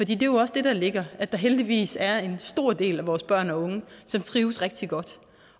det er jo også det der ligger at der heldigvis er en stor del af vores børn og unge som trives rigtig godt